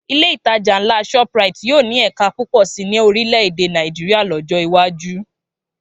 Ilé ìtajà ńlá Shoprite yóò ní ẹ̀ka púpọ̀ sí ní orílè èdè Nàìjíríà lọ́jọ́ iwájú